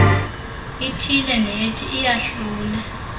ithile nethi iyahlule